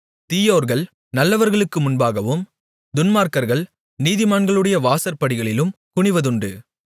தீயோர்கள் நல்லவர்களுக்கு முன்பாகவும் துன்மார்க்கர்கள் நீதிமான்களுடைய வாசற்படிகளிலும் குனிவதுண்டு